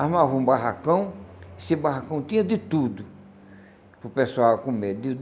Armava um barracão, esse barracão tinha de tudo para o pessoal comer.